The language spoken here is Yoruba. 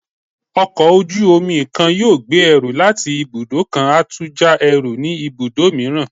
Ọkọ ojú-omi kan yóò gbé ẹrú latí ibudọ kán a tu ja ẹrú ni ibudọ miiran